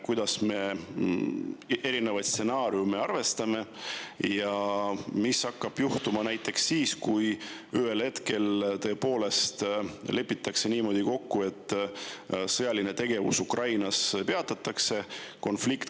Kuidas me erinevaid stsenaariume arvestame ja mis hakkab juhtuma näiteks siis, kui ühel hetkel tõepoolest lepitakse niimoodi kokku, et sõjaline tegevus Ukrainas peatatakse?